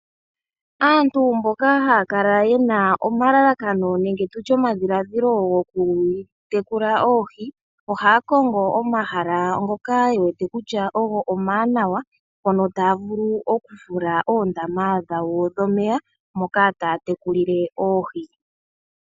Aantu mboka haakala yena omalalakano nenge omadhilaadhilo goku tekula oohi ohaakongo omahala ngoka yewete kutya ogo omawanawa hono taya vulu okufula oondama dhawo dhomeya moka taa tekulile oohi.